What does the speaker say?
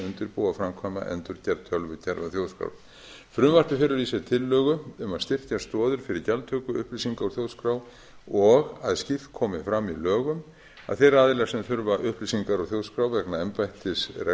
að undirbúa framkvæma endurgerð tölvukerfa þjóðskrár frumvarpið felur í sér tillögu um að styrkja stoðir fyrir gjaldtöku upplýsinga úr þjóðskrá og að slíkt komi fram í lögum að þeir aðilar sem þurfa upplýsingar úr þjóðskrá vegna embættisrekstrar eða